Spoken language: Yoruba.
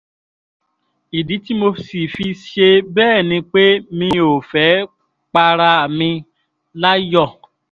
ìdí tí mo sì fi ṣe bẹ́ẹ̀ ni pé mi ò fẹ́ẹ́ para mi láyọ̀